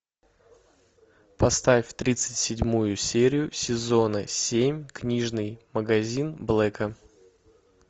поставь тридцать седьмую серию сезона семь книжный магазин блэка